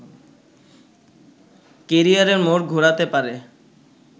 ক্যারিযারের মোড় ঘোরাতে পারে